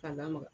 K'a lamaga